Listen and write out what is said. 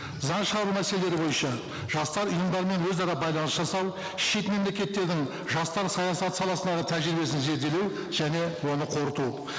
заң шығару мәселелері бойынша жастар ұйымдарымен өзара байланыс жасау шет мемлекеттердің жастар саясаты саласындағы тәжірибесін зерделеу және оны қорыту